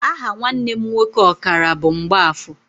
Aha nwanne m nwoke ọkara bụ Mgbafọ.